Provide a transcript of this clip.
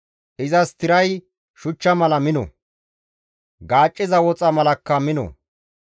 Izas tiray shuchcha mala mino; gaacciza woxa malakka mino.